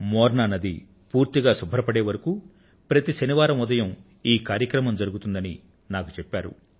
మోర్నా నది పూర్తిగా శుభ్రపడేవరకు ప్రతి శనివారం ఉదయం ఈ శుభ్రత కార్యక్రమం జరుగుతుందని నాకు చెప్పారు